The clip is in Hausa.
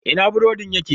Ina burodin yake?